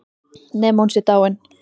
Nema hún sé dáin.